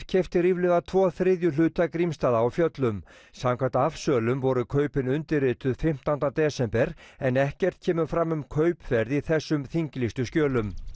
keypti ríflega tvo þriðju hluta Grímsstaða á Fjöllum samkvæmt afsölum voru kaupin undirrituð fimmtánda desember en ekkert kemur fram um kaupverð í þessum þinglýstu skjölum